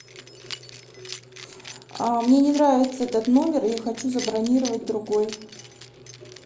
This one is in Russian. мне не нравится этот номер я хочу забронировать другой